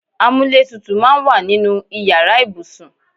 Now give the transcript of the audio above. Amúlétutù máa ń wà nínú ìyára ibùsùn.